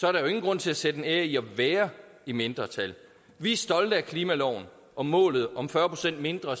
er der ingen grund til at sætte en ære i at være i mindretal vi er stolte af klimaloven og målet om fyrre procent mindre